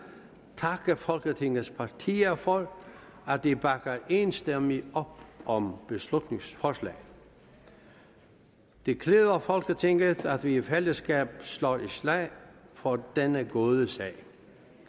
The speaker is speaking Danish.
takke folketingets partier for at de bakker enstemmigt op om beslutningsforslaget det klæder folketinget at vi i fællesskab slår et slag for denne gode sag